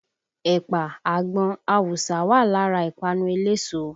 Ẹ̀pà, àgbọn, awùsá wà lára ìpanu eléso